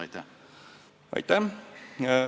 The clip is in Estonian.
Aitäh!